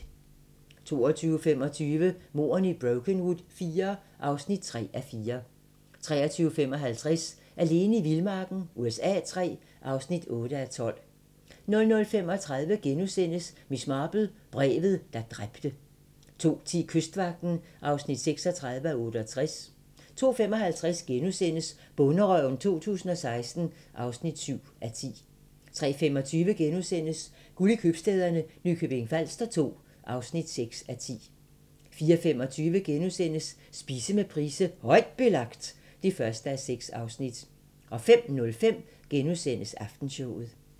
22:25: Mordene i Brokenwood IV (3:4) 23:55: Alene i vildmarken USA III (8:12) 00:35: Miss Marple: Brevet, der dræbte * 02:10: Kystvagten (36:68) 02:55: Bonderøven 2016 (7:10)* 03:25: Guld i købstæderne - Nykøbing Falster II (6:10)* 04:25: Spise med Price: "Højt Belagt" (1:6)* 05:05: Aftenshowet *